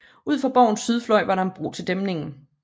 Ud for borgens sydfløj var der en bro til dæmningen